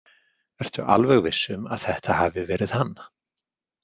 Ertu alveg viss um að þetta hafi verið hann?